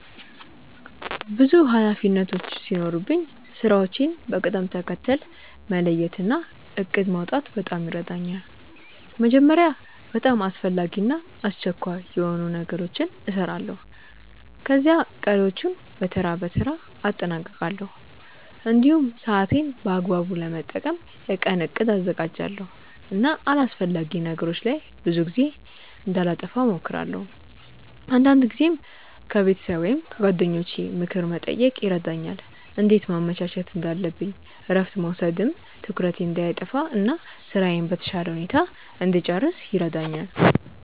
ብዙ ኃላፊነቶች ሲኖሩኝ ስራዎቼን በቅደም ተከተል መለየት እና እቅድ ማውጣት በጣም ይረዳኛል። መጀመሪያ በጣም አስፈላጊ እና አስቸኳይ የሆኑ ነገሮችን እሰራለሁ፣ ከዚያ ቀሪዎቹን በተራ በተራ አጠናቅቃለሁ። እንዲሁም ሰዓቴን በአግባቡ ለመጠቀም የቀን እቅድ አዘጋጃለሁ እና አላስፈላጊ ነገሮች ላይ ብዙ ጊዜ እንዳላጠፋ እሞክራለሁ። አንዳንድ ጊዜም ከቤተሰብ ወይም ከጓደኞቼ ምክር መጠየቅ ይረዳኛል እንዴት ማመቻቸት እንዳለብኝ እረፍት መውሰድም ትኩረቴን እንዳይጠፋ እና ስራዬን በተሻለ ሁኔታ እንድጨርስ ይረዳኛል።